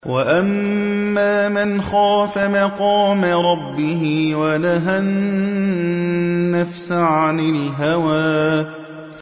وَأَمَّا مَنْ خَافَ مَقَامَ رَبِّهِ وَنَهَى النَّفْسَ عَنِ الْهَوَىٰ